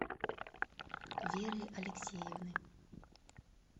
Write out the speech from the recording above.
веры алексеевны